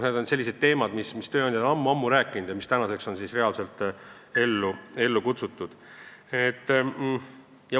Need on sellised teemad, mida tööandjad on ammu-ammu rääkinud ja mis nüüdseks on ellu kutsutud.